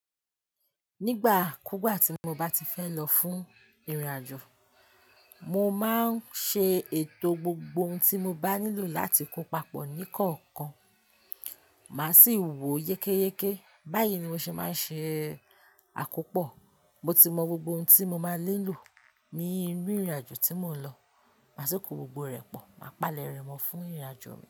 Nígbà kúgbà tí mo bá ti fẹ́ lọ fún ìrìnàjò, mo máa ń ṣe ètò gbogbo ohun tí mo bá nílò láti kó papọ̀ ní kọ̀ọ̀kan. Màá sì wò yékéyéké. Báyìí ni mo ṣe máa ń ṣe àkópọ̀. Mo ti mọ gbogbo ohun tí mo máa ni lò ní inú ìrìnàjò tí mò ń lọ. Màá sì kó gbogbo rẹ̀ pọ̀, màá palẹ̀ rẹ̀ mọ́ fún ìrìnàjò mi.